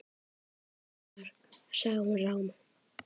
Húsið okkar.- sagði hún rám.